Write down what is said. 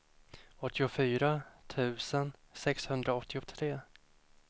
åttiofyra tusen sexhundraåttiotre